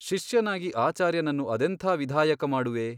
ಶಿಷ್ಯನಾಗಿ ಆಚಾರ್ಯನನ್ನು ಅದೆಂತಾ ವಿಧಾಯಕ ಮಾಡುವೆ ?